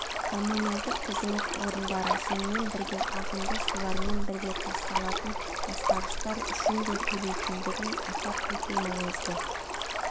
коммуналдық қызмет орындары сонымен бірге ағынды сулармен бірге тасталатын ластағыштар үшін де төлейтіндігін атап өту маңызды